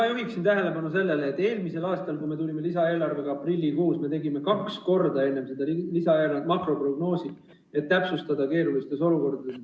Ma juhin tähelepanu sellele, et eelmisel aastal, enne kui me lisaeelarve aprillikuus esitasime, me tegime kaks korda makroprognoosi, et täpsustada keerulistes olukordades.